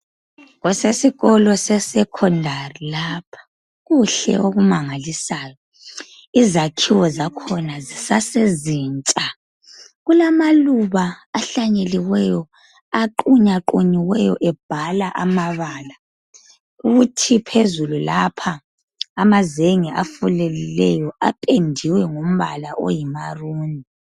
Kusesikolo sesekondari lapha. Kuhle okumangalisayo. Izakhiwo zakhona zisasezintsha. Kulamaluba ahlanyeliweyo aqunywaqunyiweyo ebhala amabala. Kuthi phezulu lapha amazenge afuleleyo aphendiwe ngombala oyimaruni.